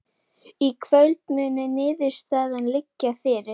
Í kvöld mun niðurstaðan liggja fyrir